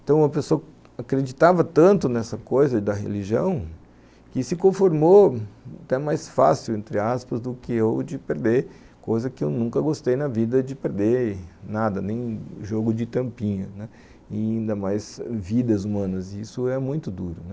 Então uma pessoa acreditava tanto nessa coisa da religião que se conformou até mais fácil, entre aspas, do que eu de perder, coisa que eu nunca gostei na vida, de perder nada, nem jogo de tampinha, né, ainda mais vidas humanas, isso é muito duro, né.